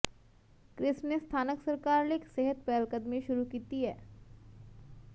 Chris ਨੇ ਸਥਾਨਕ ਸਰਕਾਰ ਲਈ ਇਕ ਸਿਹਤ ਪਹਿਲਕਦਮੀ ਸ਼ੁਰੂ ਕੀਤੀ